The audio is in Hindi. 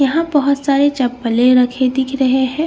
यहाँ बहुत सारे चप्पलें रखे दिख रहे हैं।